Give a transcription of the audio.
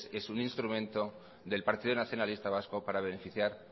es un instrumento del partido nacionalista vasco para beneficiar